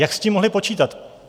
Jak s tím mohli počítat?